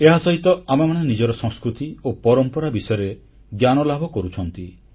ଏହାସହିତ ଆମେମାନେ ନିଜର ସଂସ୍କୃତି ଓ ପରମ୍ପରା ବିଷୟରେ ଜ୍ଞାନଲାଭ କରୁଛୁ